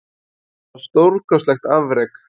Þetta var stórkostlegt afrek